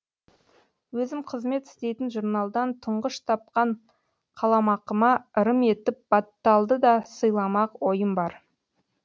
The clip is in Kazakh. өзім қызмет істейтін журналдан тұңғыш тапқан қаламақыма ырым етіп батталды да сыйламақ ойым бар